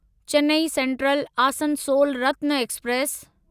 Chennai central Asansol Ratna express